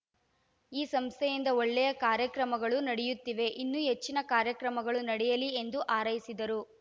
ಈ ಸಂಸ್ಥೆಯಿಂದ ಒಳ್ಳೆಯ ಕಾರ್ಯಕ್ರಮಗಳು ನಡೆಯುತ್ತಿವೆ ಇನ್ನೂ ಹೆಚ್ಚಿನ ಕಾರ್ಯಕ್ರಮಗಳು ನಡೆಯಲಿ ಎಂದು ಹಾರೈಸಿದರು